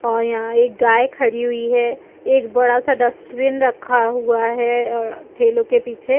--और यहां एक गाये खड़ी हुई हैं और एक बड़ा सा डस्टबिन रखा हुआ हैं और ठेलो के पीछे--